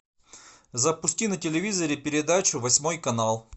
запусти на телевизоре передачу восьмой канал